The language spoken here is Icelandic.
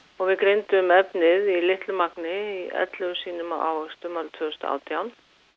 og við greindum efnið í litlu magni í ellefu sýnum af ávöxtum árið tvö þúsund og átján